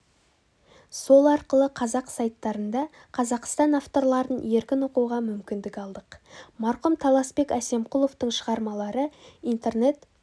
сол арқылы қазақ сайттарында қазақстан авторларын еркін оқуға мүмкіндік алдық марқұм таласбек әсемқұловтың шығармалары интернет